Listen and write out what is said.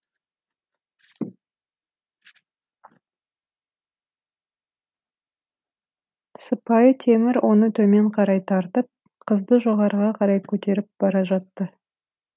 сыпайы темір оны төмен қарай тартып қызды жоғарыға қарай көтеріп бара жатты